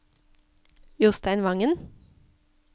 Jostein Vangen